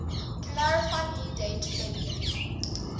clarifyme date february